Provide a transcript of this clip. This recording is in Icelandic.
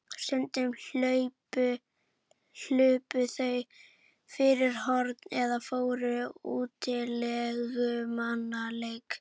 Stundum hlupu þau fyrir horn eða fóru í útilegumannaleik.